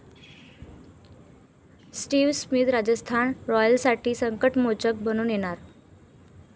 Steve Smith Rajasthan रॉयल्ससाठी संकटमोचक बनून येणार!